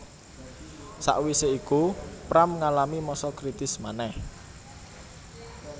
Sakwisé iku Pram ngalami masa kritis manèh